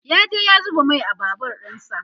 ya je ya zuba Mai a Babur ɗinsa